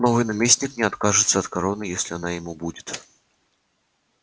новый наместник не откажется от короны если она ему будет